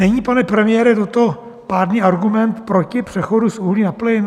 Není, pane premiére, toto pádný argument proti přechodu z uhlí na plyn?